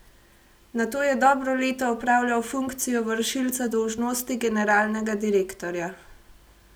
Nato je dobro leto opravljal funkcijo vršilca dolžnosti generalnega direktorja.